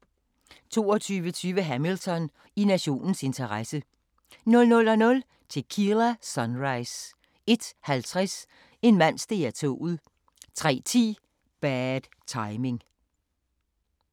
22:20: Hamilton: I nationens interesse 00:00: Tequila Sunrise 01:50: En mand steg af toget 03:10: Bad Timing